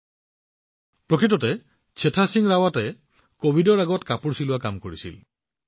আপোনালোক আচৰিত হব যে কাম অনলাইন দৰ্জী কি প্ৰকৃততে চেথা সিং ৰাৱাটে কভিডৰ পূৰ্বে টেইলৰিঙৰ কাম কৰিছিল